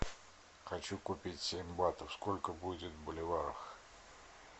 хочу купить семь батов сколько будет в боливарах